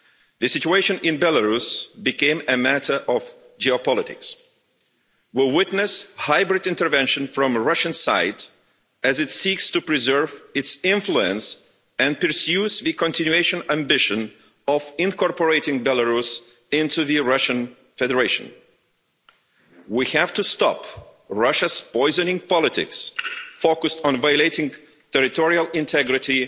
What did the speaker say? The situation in Belarus has become a matter of geopolitics. We witness hybrid intervention from the Russian side, as it seeks to preserve its influence and pursues the continuous ambition of incorporating Belarus into the Russian Federation. We have to stop Russia's poisoning politics, focused on violating the territorial integrity